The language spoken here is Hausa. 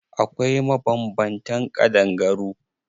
Akwai mabanbantan ƙadangaru.